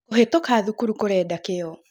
Kũhĩtũka thukuru kũrenda kĩo